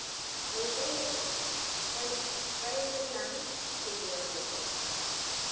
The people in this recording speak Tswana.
a ikaelelang go dira kopo